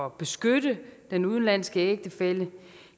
at beskytte den udenlandske ægtefælle